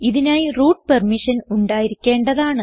ഇതിനായി root permission ഉണ്ടായിരിക്കേണ്ടതാണ്